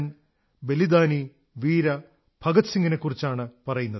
ബലിദാനി വീര ഭഗത് സിംഗിനെക്കുറിച്ചാണ് പറയുന്നത്